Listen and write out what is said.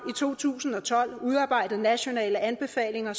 to tusind og tolv udarbejdet nationale anbefalinger